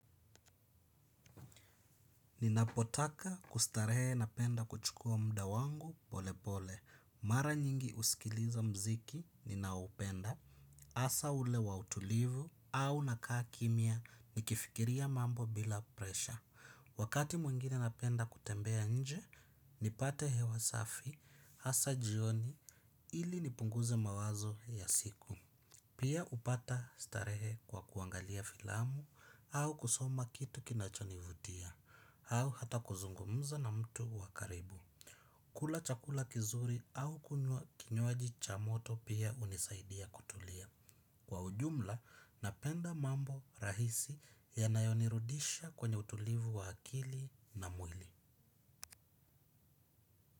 Ninapotaka kustarehe napenda kuchukua muda wangu pole pole, mara nyingi husikiliza mziki ninao upenda, hasa ule wa utulivu au nakaa kimya nikifikiria mambo bila presha. Wakati mwingine napenda kutembea inje, nipate hewa safi, hasa jioni ili nipunguze mawazo ya siku. Pia upata starehe kwa kuangalia filamu au kusoma kitu kinachonivutia au hata kuzungumza na mtu wa karibu. Kula chakula kizuri au kunywa kinywaji cha moto pia hunisaidia kutulia. Kwa ujumla napenda mambo rahisi ya nayonirudisha kwenye utulivu wa akili na mwili.